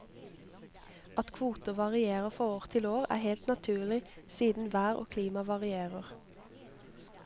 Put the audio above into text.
At kvoter varierer fra år til år, er helt naturlig, siden vær og klima varierer.